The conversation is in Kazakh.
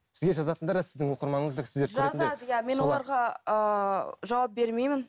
сізге жазатындар да сіздің оқырманыңыз да сіздер көретіндер мен оларға ыыы жауап бермеймін